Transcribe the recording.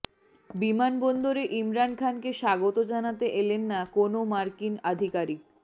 বিমানবন্দরে ইমরান খানকে স্বাগত জানাতে এলেন না কোনও মার্কিন আধিকারিক